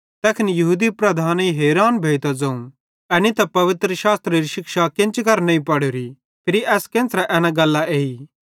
तैखन यहूदी लीडरेईं हैरान भोइतां ज़ोवं एनी त पवित्रशास्त्रेरी शिक्षा केन्ची करां नईं पढ़ोरीए फिरी एस केन्च़रे एना गल्लां एई